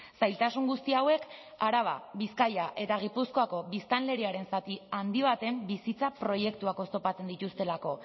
zailtasun guzti hauek araba bizkaia eta gipuzkoako biztanleriaren zati handi baten bizitza proiektuak oztopatzen dituztelako